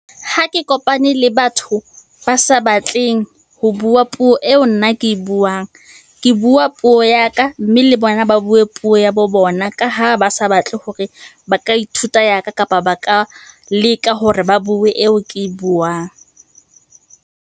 Ha ke kopane le batho ba sa batleng ho bua puo eo nna ke e buang. Ke bua puo ya ka, mme le bona ba bue puo ya bo bona ka ha ba sa batle hore ba ka ithuta ya ka, kapa ba ka leka hore ba bue eo ke e buang.